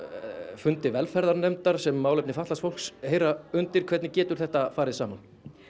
fundi velferðarnefndar sem málefni fatlaðs fólks heyra undir hvernig getur þetta farið saman